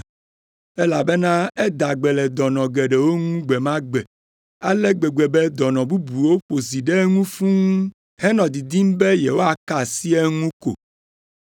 elabena eda gbe le dɔnɔ geɖewo ŋu gbe ma gbe ale gbegbe be dɔnɔ bubuwo ƒo zi ɖe eŋu fũu henɔ didim be yewoaka asi eŋu ko.